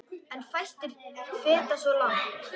En fæstir feta svo langt.